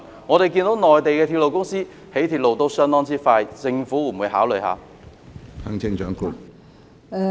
內地的鐵路公司興建鐵路效率相當高，政府會否考慮一下？